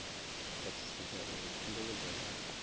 khwathisedza uri khumbelo dza vhathu